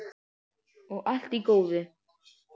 Og allt í góðu.